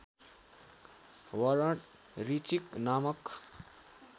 वरण ऋचीक नामक